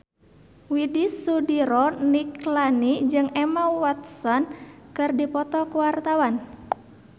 Widy Soediro Nichlany jeung Emma Watson keur dipoto ku wartawan